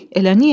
Bu, elə niyə?